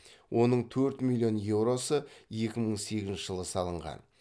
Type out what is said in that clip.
оның төрт миллион еуросы екі мың сегізінші жылы салынған